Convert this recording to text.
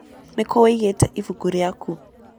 Nĩkũ ũĩgĩte ĩbũkũ rĩakũ?